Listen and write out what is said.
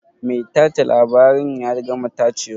Mai tace labaren ya gama tacewa?